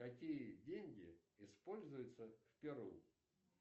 какие деньги используются в перу